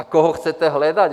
A koho chcete hledat?